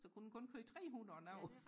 så kunne den kun køre trehundrede nu